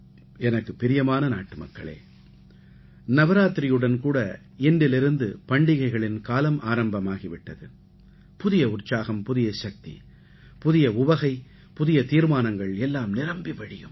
எனக்குப் பிரியமான நாட்டுமக்களே நவராத்திரியுடன் கூட இன்றிலிருந்து பண்டிகளைகளின் காலம் ஆரம்பமாகி விட்டது புதிய உற்சாகம் புதிய சக்தி புதிய உவகை புதிய தீர்மானங்கள் எல்லாம் நிரம்பி வழியும்